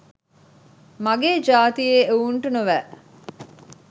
මගේ ජාතියෙ එවුන්ට නොවැ